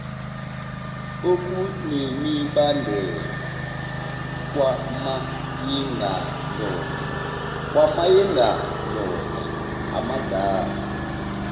okunemibandela kwamayengandoda amadala